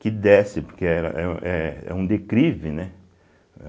que desce, porque era eh é um declive, né?